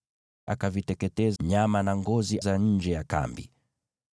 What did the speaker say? Akateketeza nyama na ngozi nje ya kambi.